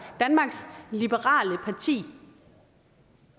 danmarks liberale parti